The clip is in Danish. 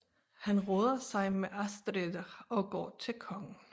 Han råder sig med Ástriðr og går til kongen